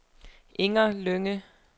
Inger Lynge